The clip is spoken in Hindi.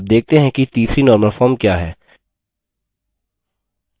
अब देखते हैं कि तीसरी normal form क्या है